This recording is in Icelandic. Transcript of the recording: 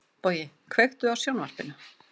Bogi, kveiktu á sjónvarpinu.